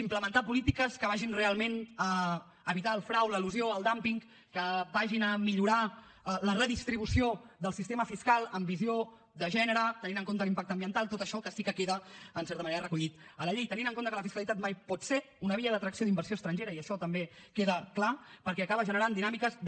implementar polítiques que vagin realment a evitar el frau l’elusió el dúmping que vagin a millorar la redistribució del sistema fiscal amb visió de gènere tenint en compte l’impacte ambiental tot això que sí que queda en certa manera recollit a la llei tenint en compte que la fiscalitat mai pot ser una via d’atracció d’inversió inversió estrangera i això també queda clar perquè acaba generant dinàmiques de